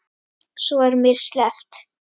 Svo var mér sleppt.